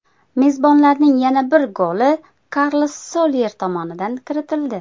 Mezbonlarning yana bir goli Karlos Solyer tomonidan kiritildi.